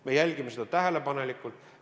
Me jälgime seda tähelepanelikult.